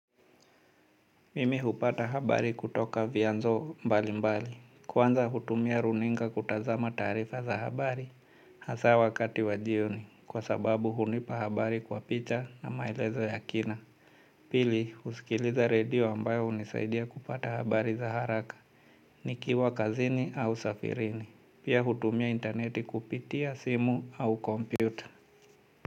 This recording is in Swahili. Mimi hupata habari kutoka vyanzo mbali mbali. Kwanza hutumia runinga kutazama taarifa za habari hasa wakati wa jioni kwa sababu hunipa habari kwa picha na maelezo ya kina. Pili, husikiliza radio ambayo hunisaidia kupata habari za haraka. Nikiwa kazini au safirini. Pia hutumia interneti kupitia simu au kompyuta.